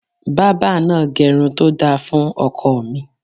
Bábà náà gẹrun to dára fun ọkọ mi.